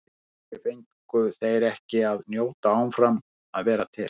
Af hverju fengu þeir ekki að njóta áfram að vera til?